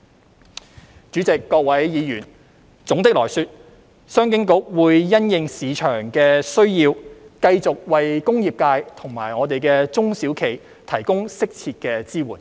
代理主席、各位議員，總的來說，商經局會因應市場的需要，繼續為工業界及中小企提供適切的支援。